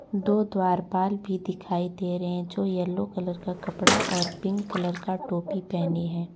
दो द्वारपाल भी दिखाई दे रहे जो येलो कलर का कपड़ा और पिंक कलर का टोपी पहनी है।